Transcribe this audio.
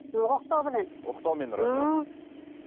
оқтауменен оқтаумен ұрады иә мхм